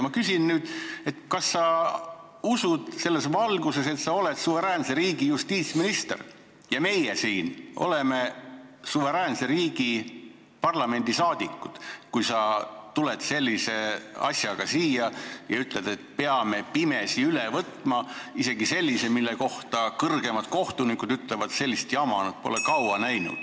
Ma küsin nüüd, kas sa usud selles valguses, et sa oled suveräänse riigi justiitsminister ja meie siin oleme suveräänse riigi parlamendiliikmed, kui sa tuled sellise asjaga siia ja ütled, et peame pimesi üle võtma, isegi sellise asja, mille kohta kõrgemad kohtunikud on öelnud, et sellist jama pole nad kaua näinud.